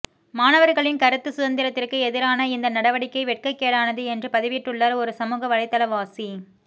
மாணவர்களின் கருத்து சுதந்திரத்திற்கு எதிரான இந்த நடவடிக்கை வெட்கக் கேடானது என்று பதிவிட்டுள்ளார் ஒரு சமூக வலைதாளவாசி